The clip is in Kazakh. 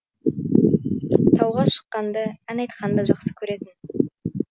тауға шыққанды ән айтқанды жақсы көретін